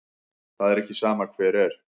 Það er ekki sama hver er.